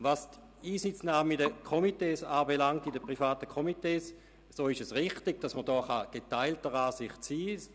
Was die Einsitznahme in den Komitees anbelangt, so kann man hier tatsächlich geteilter Meinung sein.